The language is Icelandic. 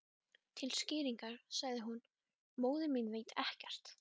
Til skýringar sagði hún: Móðir mín veit ekkert